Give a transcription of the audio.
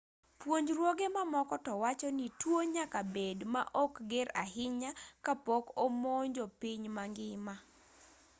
puonjruoge mamoko to wacho ni tuo nyaka bed ma ok ger ahinya ka pok omonjo piny ma ngima